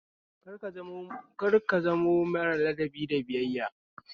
Kar ka zamo mara ladabi da biyayya